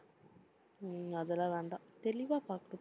உம் அதெல்லாம் வேண்டாம். தெளிவா பாக்கணும்